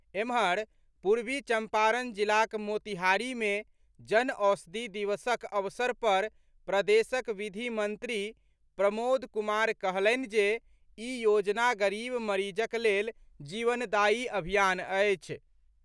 एम्हर, पूर्वी चंपारण जिलाक मोतिहारी मे जन औषधि दिवसक अवसर पर प्रदेशक विधि मंत्री प्रमोद कुमार कहलनि जे ई योजना गरीब मरीजक लेल जीवनदायी अभियान अछि।